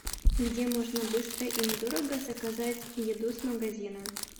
где можно быстро и недорого заказать еду с магазина